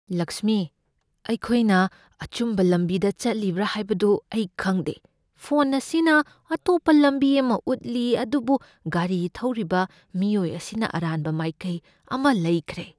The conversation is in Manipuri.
ꯂꯛꯁꯃꯤ, ꯑꯩꯈꯣꯏꯅ ꯑꯆꯨꯝꯕ ꯂꯝꯕꯤꯗ ꯆꯠꯂꯤꯕ꯭ꯔꯥ ꯍꯥꯏꯕꯗꯨ ꯑꯩ ꯈꯪꯗꯦ꯫ ꯐꯣꯟ ꯑꯁꯤꯅ ꯑꯇꯣꯞꯄ ꯂꯝꯕꯤ ꯑꯃ ꯎꯠꯂꯤ ꯑꯗꯨꯕꯨ ꯒꯥꯔꯤ ꯊꯧꯔꯤꯕ ꯃꯤꯑꯣꯏ ꯑꯁꯤꯅ ꯑꯔꯥꯟꯕ ꯃꯥꯏꯀꯩ ꯑꯃ ꯂꯩꯈ꯭ꯔꯦ꯫